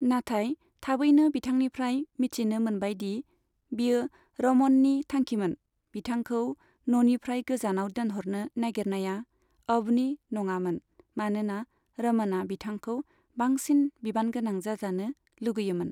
नाथाय थाबैनो बिथांनिफ्राय मिथिनो मोनबाय दि, बेयो रमननि थांखिमोन बिथांखौ न'निफ्राय गोजानाव दोनहरनो नागिरनाया, अभनि नङामोन मानोना रमनअ बिथांखौ बांसिन बिबानगोनां जाजानो लुगैयोमोन।